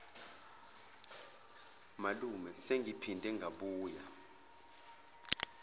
malume sengiphinde ngabuya